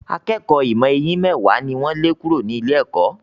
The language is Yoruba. Akékọ̀ọ́ ìmọ̀ eyín mẹ́wàá ni wọ́n lé kúrò ní ilé-ẹ̀kọ́.